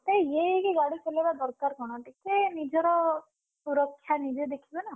ଏତେ ଇଏ ହେଇକି ଗାଡି ଚଲେଇବା ଦରକାର କଣ ଟିକେ ନିଜର, ସୁରକ୍ଷା ନିଜେ ଦେଖିବା ନା।